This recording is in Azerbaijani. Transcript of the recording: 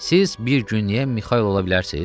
Siz bir günlük Mixail ola bilərsiz?